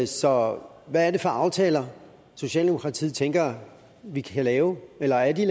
så hvad er det for aftaler socialdemokratiet tænker vi kan lave eller er de